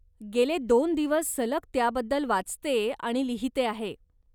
गेले दोन दिवस सलग त्याबद्दल वाचते आणि लिहिते आहे.